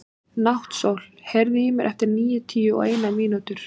Náttsól, heyrðu í mér eftir níutíu og eina mínútur.